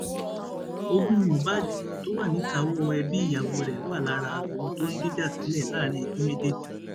ogun mohbad tó wà níkàáwọ ẹbí ìyàwó rẹ wà lára ohun tó ń dìjà sílẹ láàrin ẹbí méjèèjì